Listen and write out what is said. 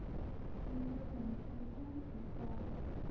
sekere genetiese mutasies